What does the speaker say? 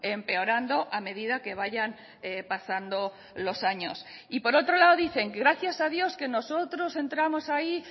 empeorando a medida que vayan pasando los años y por otro lado dicen gracias a dios que nosotros entramos ahí